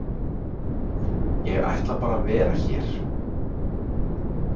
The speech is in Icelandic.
Ég ætla bara að vera hér.